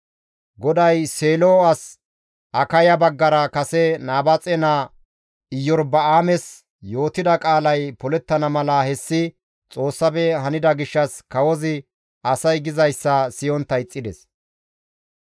GODAY Seelo as Akaya baggara kase Nabaaxe naa Iyorba7aames yootida qaalay polettana mala hessi Xoossafe hanida gishshas kawozi asay gizayssa siyontta ixxides.